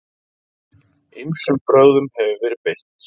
Ýmsum brögðum hefur verið beitt.